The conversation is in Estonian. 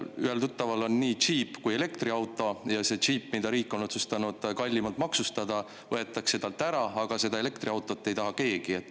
Ühel mu tuttaval on nii džiip kui ka elektriauto ja see džiip, mille riik on otsustanud kallimalt maksustada, võetakse talt ära, aga elektriautot ei taha keegi.